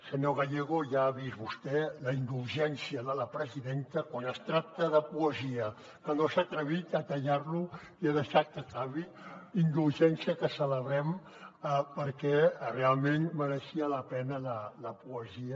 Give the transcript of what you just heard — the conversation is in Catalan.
senyor gallego ja ha vist vostè la indulgència de la presidenta quan es tracta de poesia que no s’ha atrevit a tallar lo i ha deixat que acabi indulgència que celebrem perquè realment mereixia la pena la poesia